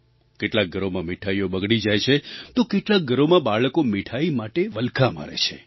કેટલાંક ઘરોમાં મીઠાઈઓ બગડી જાય છે તો કેટલાંક ઘરોમાં બાળકો મીઠાઈ માટે વલખાં મારે છે